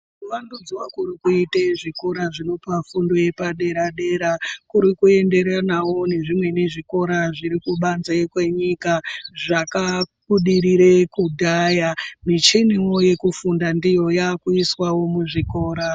Kuvandudzwe kurikuite zvikora zvinopa fundo yepadera-dera, kurikuenderanawo nezvimweni zvikora zvirikubanze kwenyika, zvakabudirire kudhaya. Micheniwo yekufunda ndiyo yaakuiswawo muzvikora.